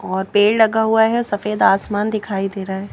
और पेड़ लगा हुआ है सफेद आसमान दिखाई दे रहा है।